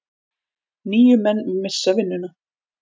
Níu menn missa vinnuna.